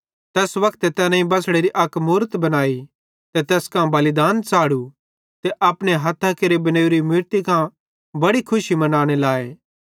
तैस वक्ते तैनेईं बछ़ड़ेरी अक मूरत बनाई ते तैस कां बलिदान च़ाढ़ू ते अपने हथ्थां केरे बनेवरी मूरती कां बड़ी खुशी मनाने लाए